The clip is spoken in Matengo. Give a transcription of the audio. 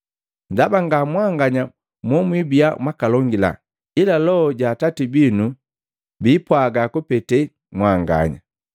Ndaba nga mwanganya mo mwibia mwakalongila ila Loho ja Atati binu biipwaga kupete mwanganya.